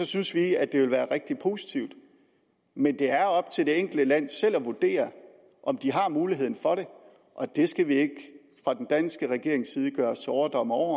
synes vi at det vil være rigtig positivt men det er op til det enkelte land selv at vurdere om de har mulighed for det det skal vi ikke fra den danske regerings side gøre os til overdommer over